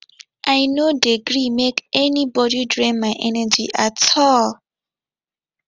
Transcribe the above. i no dey gree make anybodi drain my energy at all